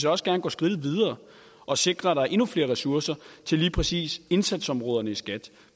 også gerne gå skridtet videre og sikre at der er endnu flere ressourcer til lige præcis indsatsområderne i skat